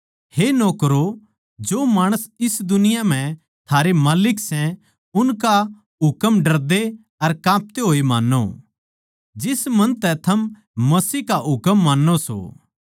हे नौकरों जो माणस इस जगत म्ह थारे माल्लिक सै उनका हुकम डरदे अर कापते होए मान्नो जिस मन तै थम मसीह का मान्नो सों